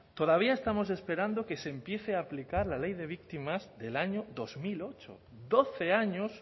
todavía estamos esperando que se empiece a aplicar la ley de víctimas del año dos mil ocho doce años